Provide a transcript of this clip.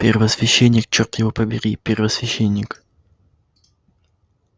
первосвященник чёрт его побери первосвященник